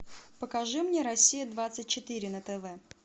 покажи мне россия двадцать четыре на тв